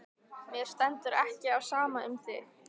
Mér stendur ekki á sama um þig.